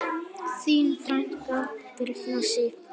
Þín frænka, Birna Sif.